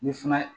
Ni fana ye